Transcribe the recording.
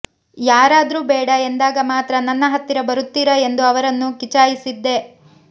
ಯಾರಾದ್ರೂ ಬೇಡ ಎಂದಾಗ ಮಾತ್ರ ನನ್ನ ಹತ್ತಿರ ಬರುತ್ತೀರಾ ಎಂದು ಅವರನ್ನು ಕಿಚಾಯಿಸಿದ್ದೆ